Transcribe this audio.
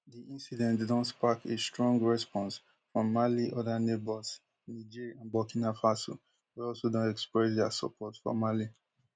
di incident don spark a strong response from mali oda neighbours niger and burkina faso wey also don express dia support for mali